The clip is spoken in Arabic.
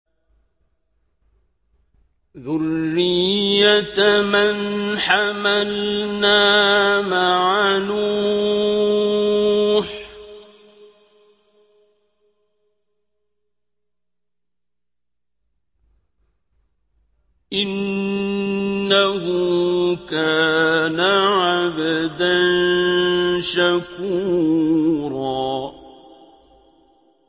ذُرِّيَّةَ مَنْ حَمَلْنَا مَعَ نُوحٍ ۚ إِنَّهُ كَانَ عَبْدًا شَكُورًا